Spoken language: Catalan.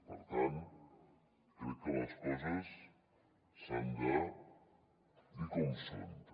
per tant crec que les coses s’han de dir com són també